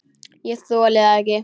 Ég þoli það ekki,